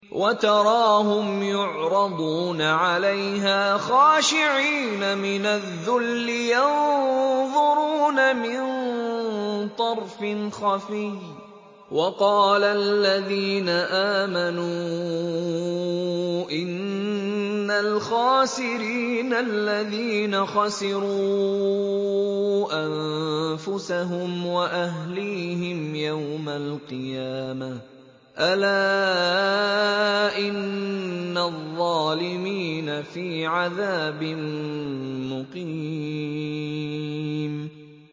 وَتَرَاهُمْ يُعْرَضُونَ عَلَيْهَا خَاشِعِينَ مِنَ الذُّلِّ يَنظُرُونَ مِن طَرْفٍ خَفِيٍّ ۗ وَقَالَ الَّذِينَ آمَنُوا إِنَّ الْخَاسِرِينَ الَّذِينَ خَسِرُوا أَنفُسَهُمْ وَأَهْلِيهِمْ يَوْمَ الْقِيَامَةِ ۗ أَلَا إِنَّ الظَّالِمِينَ فِي عَذَابٍ مُّقِيمٍ